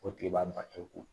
O tile b'a balo ko